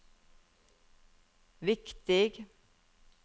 viktig